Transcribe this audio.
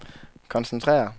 koncentrere